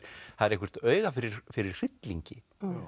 það er eitthvert auga fyrir fyrir hryllingi